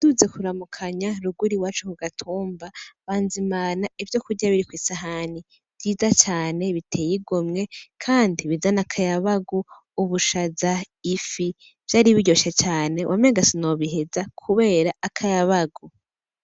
Naduze kuramukanya ruguru iwacu ku gatumba, banzimana ivyo kurya biri kw'isahani, vyiza cane biteye igomwe kandi bizana akayabagu: ubushaza, ifi, vyari biryoshe cane, wamenga sinobiheza kubera akayabagu.